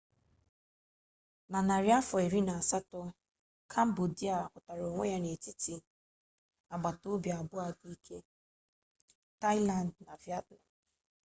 na narị afọ iri na asatọ kambodia hụtara onwe ya n'etiti agbatobi abụọ dị ike taịland na vietnam